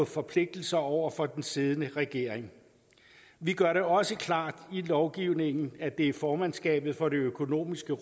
forpligtelser over for den siddende regering vi gør det også klart i lovgivningen at det er formandskabet for det økonomiske